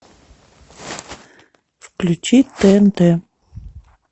включи тнт